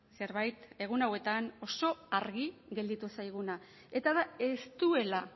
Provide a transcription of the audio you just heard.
zerbait egun hauetan oso argi gelditu zaiguna eta da ez duela